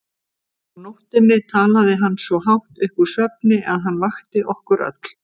Á nóttunni talaði hann svo hátt upp úr svefni að hann vakti okkur öll.